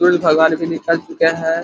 भी निकल चुका है।